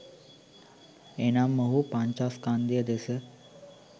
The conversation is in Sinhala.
එනම් ඔහු පංචස්කන්ධය දෙස